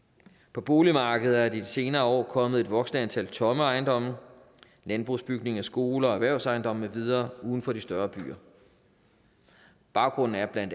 på boligmarkedet er der i de senere år kommet et voksende antal tomme ejendomme landbrugsbygninger skoler og erhvervsejendomme med videre uden for de større byer baggrunden er bla